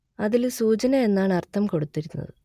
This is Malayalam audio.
അതിൽ സൂചന എന്നാണ് അർത്ഥം കൊടുത്തിരിക്കുന്നത്